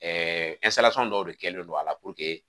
Ɛɛ dɔw de kɛlen don a la